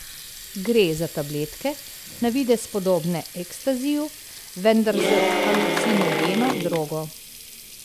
Gre za tabletke, na videz podobne ekstaziju, vendar s halucinogeno drogo.